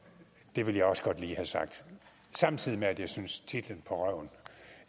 det ville jeg også godt lige have sagt samtidig med at jeg synes at titlen på røven